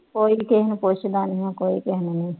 ਕੋਈ ਕਿਸੇ ਨੂੰ ਪੁੱਛਦਾ ਨਹੀਂ ਹੈ, ਕੋਈ ਕਿਸੇ ਨੂੰ ਨਹੀਂ